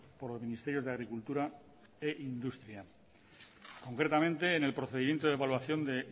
por los ministerios de agricultura e industria concretamente en el procedimiento de evaluación de